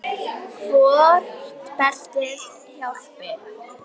Hvort beltið hjálpi?